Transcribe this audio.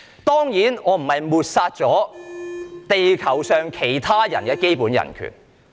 當然，我不是想抹煞地球上其他人的基本人權。